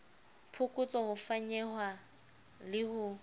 phokotso ho fanyehwa le ho